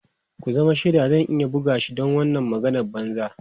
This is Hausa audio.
Ku zama shaidana cewa zan iya bugan shi don wannan maganar banza.